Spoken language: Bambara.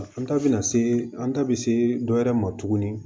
An ta bɛ na se an ta bɛ se dɔ wɛrɛ ma tuguni